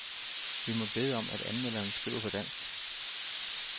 Vi må bede om, at anmelderen skriver på dansk.